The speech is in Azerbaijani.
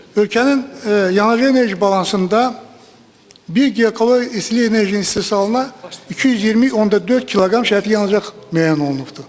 Ölkənin yanacaq enerji balansında bir giqakalori istilik enerjisinin istehsalına 220.4 kq şərti yanacaq müəyyən olunubdur.